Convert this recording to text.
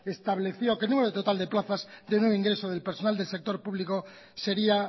estableció que el número total de plazas de nuevo ingreso del personal del sector público sería